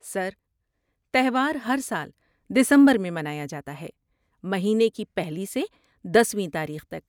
سر، تہوار ہرسال دسمبر میں منایا جاتا ہے، مہینے کی پہلی سے دسویں تاریخ تک۔